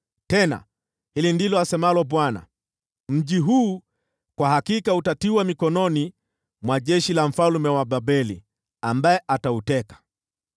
Tena hili ndilo asemalo Bwana : ‘Mji huu kwa hakika utatiwa mikononi mwa jeshi la mfalme wa Babeli, ambaye atauteka.’ ”